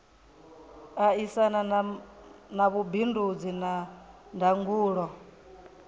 aisana na vhubindudzi na ndangulo